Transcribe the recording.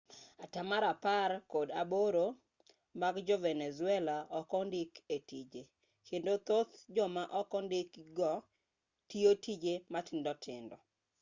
atamalo apar kod aboro mag jo-venezuela ok ondiki e tije kendo thoth joma ok ondiki go tiyo tije matindo tindo